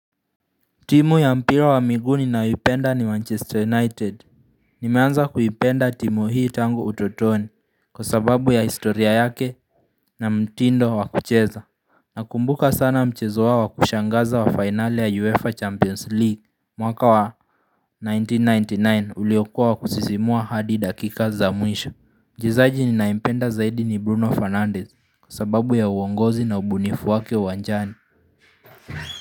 Timu ya mpira wa miguuni ninyoipenda ni Manchester United Nimeanza kuipenda timu hii tangu utotoni kwa sababu ya historia yake na mtindo wa kucheza Nakumbuka sana mchezo wao wa kushangaza wa finale ya UEFA Champions League mwaka wa 1999 uliokua wa kusisimua hadi dakika za mwisho Mchezaji ninayempenda zaidi ni Bruno Fernandez kwa sababu ya uongozi na ubunifu wake uwanjani.